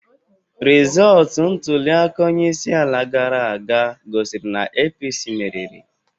Rịzọọtụ ntuliaka onyeisiala gara aga gosiri na APC meriri.